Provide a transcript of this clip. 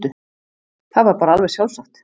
Það var bara alveg sjálfsagt.